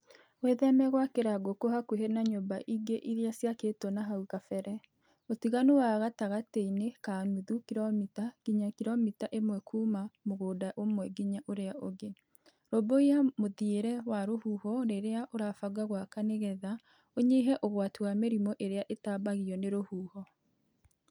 Wĩtheme gwakĩra ngũkũ hakuhĩ na nyũmba ingĩ iria ciakĩtwo na hau kabere (ũtiganu wa gatagatĩ-inĩ ka nuthu kiromita nginya kiromita ĩmwe kuma mũgũnda ũmwe nginya ũrĩa ũngĩ); rũmbũiya mũthiĩre wa rũhuho rĩrĩa ũrabanga gwaka nĩgetha ũnyihie ũgwati wa mĩrimũ ĩrĩa ĩtambagio nĩ rũhuho.